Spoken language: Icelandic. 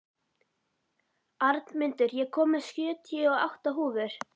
Arnmundur, ég kom með sjötíu og átta húfur!